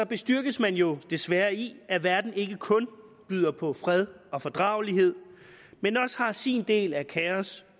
bestyrkes man jo desværre i at verden ikke kun byder på fred og fordragelighed men også har sin del af kaos